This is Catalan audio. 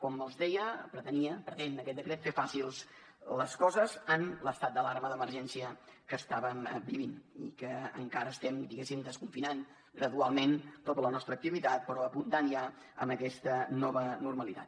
com els deia pretenia pretén aquest decret fer fàcils les coses en l’estat d’alarma d’emergència que estàvem vivint i que encara estem diguéssim desconfinant gradualment tota la nostra activitat però apuntant ja a aquesta nova normalitat